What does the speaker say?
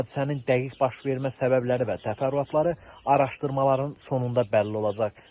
Hadisənin dəqiq baş vermə səbəbləri və təfərrüatları araşdırmaların sonunda bəlli olacaq.